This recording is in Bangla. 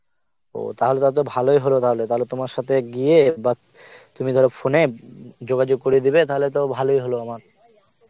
ও তাহলে টা তো ভালই হলো তাহলে তোমার সথে গিয়ে, তুমি ধর phone এ উম যোগাযোগ করিয়ে দেবে, তাহলে তো ভালই হলো আমার